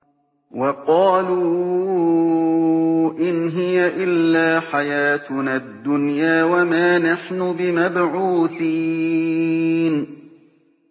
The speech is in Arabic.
وَقَالُوا إِنْ هِيَ إِلَّا حَيَاتُنَا الدُّنْيَا وَمَا نَحْنُ بِمَبْعُوثِينَ